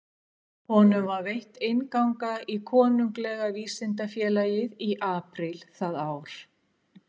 Honum var veitt innganga í Konunglega vísindafélagið í apríl það ár.